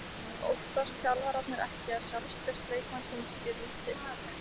Óttast þjálfararnir ekki að sjálfstraust leikmannsins sé lítið?